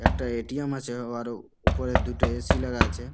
একটা A. T .M . আছে ও আরো উপরে দুটো এ. সি. লাগা আছে।